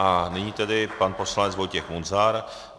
A nyní tedy pan poslanec Vojtěch Munzar.